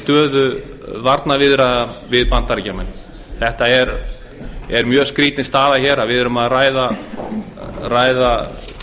stöðu varnarviðræðna við bandaríkjamenn þetta er mjög skrýtin staða hér að við erum að ræða